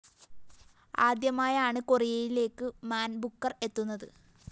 ആദ്യമായാണ് കൊറിയയിലേക്ക് Man Booker‍ എത്തുന്നത്